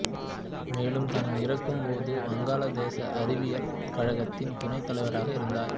மேலும் தான் இறக்கும் போது வங்காளதேச அறிவியல் கழகத்தின் துணைத் தலைவராக இருந்தார்